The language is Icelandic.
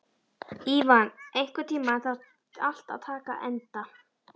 Ívan, einhvern tímann þarf allt að taka enda.